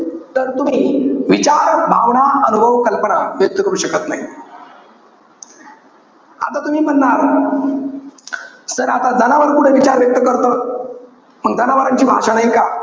तर तुम्ही, विचार, भावना, अनुभव, कल्पना हे व्यक्त करू शकत नाही. आता तुम्ही म्हणणार, sir आता जनावर कुठे विचार व्यक्त करतं. मंग जनावरांची भाषा नाई का?